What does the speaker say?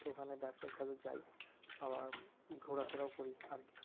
ঐখানে ব্যাবসায়িক কাজে যাই আবার ঘোড়াফেরাও করি।